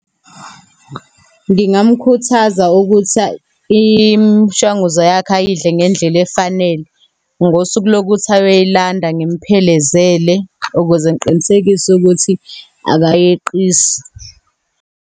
Ngingamkhuthaza ukuthi imishanguzo yakhe ayidle ngendlela efanele. Ngosuku lokuthi ayoyilanda, ngimphelezele, ukuze ngiqinisekise ukuthi akayeqisi.